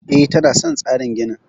E, tana son tsarin ginin.